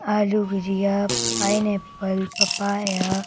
आलू भुजिया pineapple papaya --